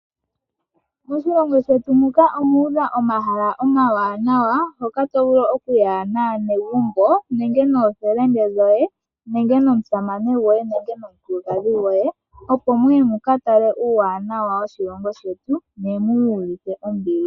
Moshilongo shetu muka omwa udha omahala omawanawa , hoka to vulu okuya naanegumbo, noofelende, nomusamane gwoye nenge nomukulukadhi gwoye opo muye mu ka tale uuwanawa woshilongo shetu ne mu iyuvithe ombili.